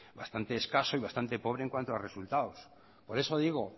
bastante escaso y bastante pobre en cuanto a resultados por eso digo